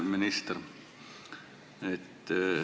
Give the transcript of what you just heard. Hea minister!